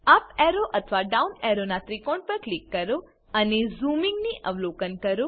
up arrow અથવા down arrow ના ત્રિકોણ પર ક્લિક કરો અને ઝૂમીંગની અવલોકન કરો